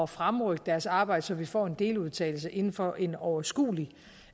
fremrykke deres arbejde så vi får en deludtalelse inden for en overskuelig